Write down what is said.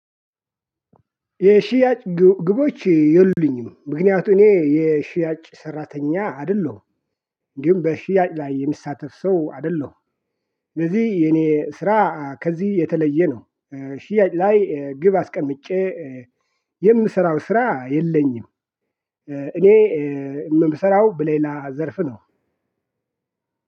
የሽያጭ ግቦች የሉልኝም ምክንያቱም እኔ የሽያጭ ሰራተኛ አይደለሁም ግን በሽያጭ ላይ የሚሳተፍ ሰው አይደለሁም። ለዚህ የኔ ስራ ከዚህ የተለየ ነው። ሽያጭ ላይ ግብ አስቀምጬ የምሰራው ስራ የለኝም። እኔ የምሰራው ብሌላ ዘርፍ ነው።